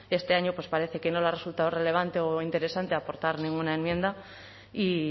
este año pues parece que no le ha resultado relevante o interesante aportar ninguna enmienda y